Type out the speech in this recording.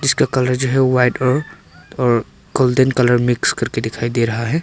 जो कलर जो है व्हाइट और गोल्डन कलर मिक्स करके दिखाई दे रहा है।